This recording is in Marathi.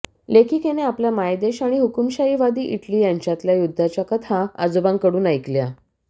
लेखिकेने आपला मायदेश आणि हुकूमशाहीवादी इटली यांच्यातल्या युद्धाच्या कथा आजोबांकडून ऐकल्या